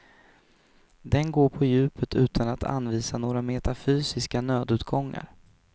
Den går på djupet utan att anvisa några metafysiska nödutgångar.